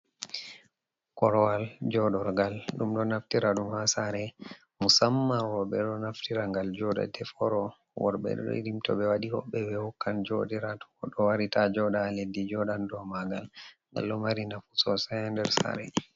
Korwal joɗorgal, ɗum ɗo naftira ɗum ha sare musamman roɓe ɗo naftira ngal joɗa deforo. Worɓe irin toɓe waɗi hoɓbe ɓe hokkan joɗira, tow goɗɗo wari ta joɗa ha leddi jodan dow mangal, ngal ɗo mari nafu sosai ha sare.